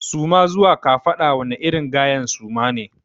Suma zuwa kafaɗa wani irin gayen suma ne.